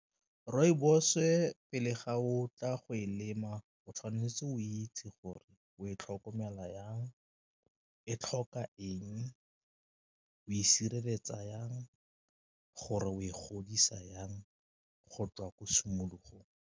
Rooibos-e pele ga o tla go e lema o tshwanetse o itse gore o e tlhokomela jang, e tlhoka eng, o e sireletsa jang, gore o e godisa jang go tswa ko simologong.